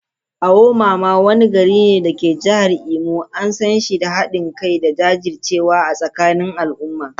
Awo mama, wani gari ne a jihar Imo, an san shi da hadin kai da jajircewa a tsakanin al’umma.